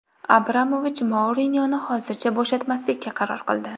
Abramovich Mourinyoni hozircha bo‘shatmaslikka qaror qildi.